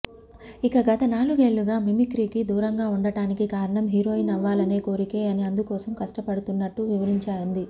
ఇక గత నాలుగేళ్లుగా మిమిక్రీకి దూరంగా ఉండడానికి కారణం హీరోయిన్ అవ్వాలనే కొరికే అని అందుకోసం కష్టపడుతున్నట్లు వివరించింది